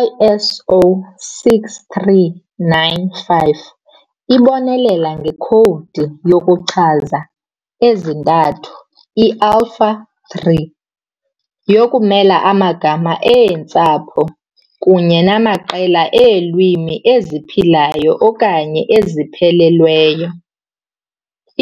I-ISO 639-5 ibonelela ngekhowudi yokuchaza ezintathu, i-Alpha-3, yokumela amagama eentsapho kunye namaqela eelwimi eziphilayo okanye eziphelelweyo.